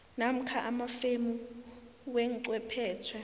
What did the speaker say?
namkha amafemu wechwephetjhe